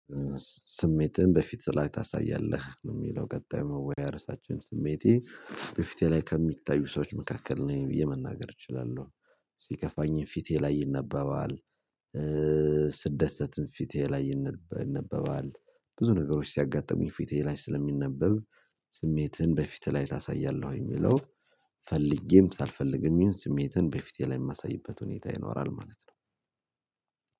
ስሜትህን በፊት ላይ ታሳያለህ የሚለው ቀጣይ መወያያሪያ ራሳችን ስሜቴ በፊቴ ላይ ከሚታዩ ሰዎች መካከል ነኝ ብዬ መናገር እችላለሁ። ሲከፋኝም ፊቴ ላይ ይነባባል። ስደሰትም ፊቴ ላይ ይነበባል ብዙ ነገሮች ሲያጋጥሙኝ ፊቴ ላይ ስለሚነበብ። ስሜትን በፊትህ ላይ ታሳያለህ ወይ የሚለው? ፈልጌም ሳልፈልግም ይሁን ስሜትን በፊትህ ላይ የማሳይበት ሁኔታ ይኖራል ማለት ነው።